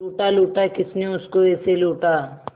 लूटा लूटा किसने उसको ऐसे लूटा